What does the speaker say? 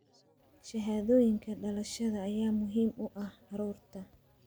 Shahaadooyinka dhalashada ayaa muhiim u ah carruurta.